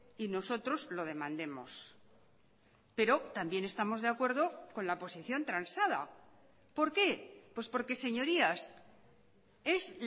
y nosotros lo demandemos pero también estamos de acuerdo con la posición transada por qué pues porque señorías es